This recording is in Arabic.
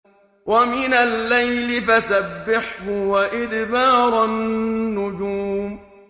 وَمِنَ اللَّيْلِ فَسَبِّحْهُ وَإِدْبَارَ النُّجُومِ